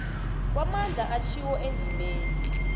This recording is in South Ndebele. kwamandla atjhiwo endimeni